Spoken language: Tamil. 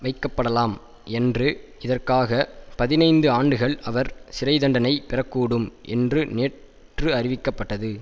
வைக்கப்படலாம் என்று இதற்காக பதினைந்து ஆண்டுகள் அவர் சிறை தண்டனை பெறக்கூடும் என்றும் நேற்று அறிவிக்கப்பட்டது